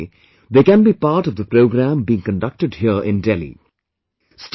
Alternatively, they can be part of the program being conducted here in Delhi